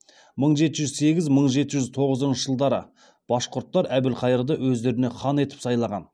мың жеті жүз сегіз мың жеті жүз тоғызыншы жылдары башқұрттар әбілқайырды өздеріне хан етіп сайлаған